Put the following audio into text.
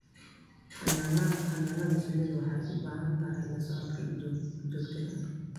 Xannaanada shinnidu waxay u baahan tahay la socodka joogtada ah.